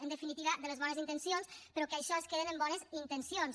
en definitiva de les bones intencions però que això es queda en bones intencions